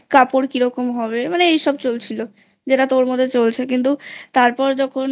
কাপড় কিরকম হবে মানে এসব চলছিল যেটা তোর মধ্যে চলছে কিন্তু তারপর যখন